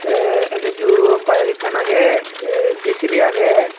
tey enuju bike ekkan agey tey J_C_B agey.